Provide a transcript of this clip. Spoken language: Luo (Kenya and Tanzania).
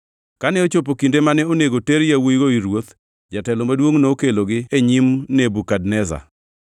Kane ochopo kinde mane onego ter yawuowigo ir ruoth, jatelo maduongʼ nokelogi e nyim Nebukadneza.